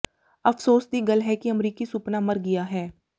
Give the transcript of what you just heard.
ਅਫ਼ਸੋਸ ਦੀ ਗੱਲ ਹੈ ਕਿ ਅਮਰੀਕੀ ਸੁਪਨਾ ਮਰ ਗਿਆ ਹੈ